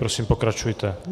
Prosím, pokračujte.